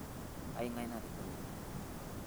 eng'ae natejo nejia